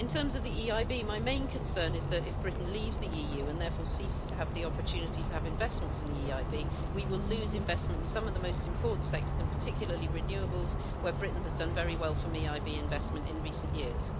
In terms of the EIB, my main concern is that if Britain leaves the EU and therefore ceases to have the opportunity to have investment from the EIB, we will lose investment in some of the most important sectors, particularly renewables, where Britain has done very well from EIB investment in recent years.